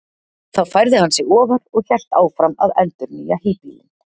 Þá færði hann sig ofar og hélt áfram að endurnýja híbýlin!